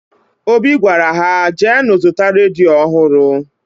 Obi gwara ha, jeenụ zụta redio ọhụrụ!